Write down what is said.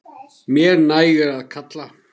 Mér nægir að kalla.